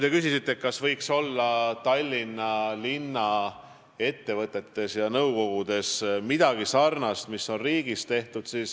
Te küsisite, kas Tallinnas võiks linnaettevõtete nõukogudes olla sarnane kord, mis on riigis.